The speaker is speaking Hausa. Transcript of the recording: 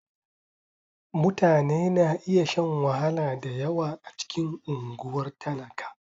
Mutane na iya shan wahala da yawa a cikin unguwar talaka.